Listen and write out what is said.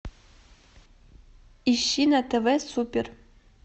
ищи на тв супер